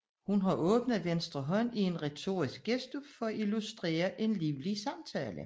Hun har åbnet venstre hånd i en retorisk gestus for at illustrere en livlig samtale